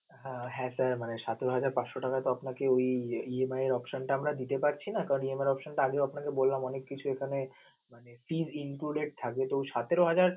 হা হ্যাঁ, sir মানে সতেরো হাজার পাঁচশো টাকা তো আপনাকে এই~ই EMI এর option টা আপনাকে দিতে পারছি না কারণ EMI এর option টা আগেও আপনাকে বললাম অনেক কিছু এখানে মানে pre included থাকে. তো সতেরো হাজার